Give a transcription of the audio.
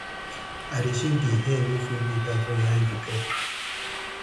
i dey dey shave di hair wey full goat eye so hin eyes go clear